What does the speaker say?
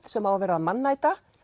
sem á að vera mannæta